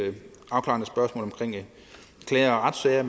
afklarende spørgsmål omkring klager og retssager